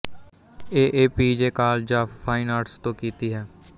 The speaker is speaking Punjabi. A A P J college of fine arts ਤੋਂ ਕੀਤੀ ਹੈ